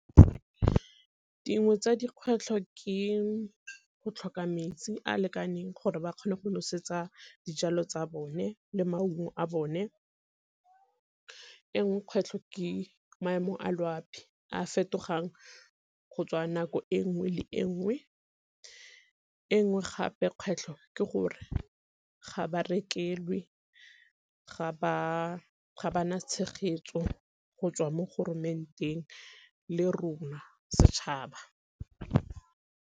Dingwe tsa dikgwetlho ke go tlhoka metsi a lekaneng gore ba kgone go nosetsa dijalo tsa bone le maungo a bone, e nngwe kgwetlho ke maemo a loapi a fetogang go tswa nako e nngwe le e nngwe. E nngwe gape kgwetlho ke gore ga ba rekelwe, ga ba na tshegetso go tswa mo le rona setšhaba.